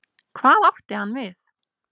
Hvað átti hann við?